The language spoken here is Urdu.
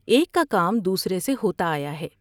ایک کا کام دوسرے سے ہوتا آیا ہے ۔